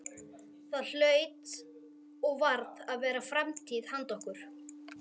Það hlaut og varð að vera framtíð handa okkur.